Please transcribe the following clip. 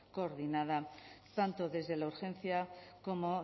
coordinada tanto desde la urgencia como